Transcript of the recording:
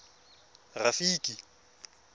rafiki